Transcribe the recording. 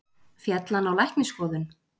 Féll hann á læknisskoðun?